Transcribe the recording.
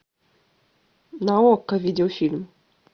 на окко видеофильм